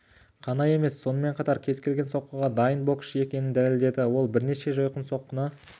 қана емес сонымен қатар кез келген соққыға дайын боксшы екенін дәлелдеді ол бірнеше жойқын соққыны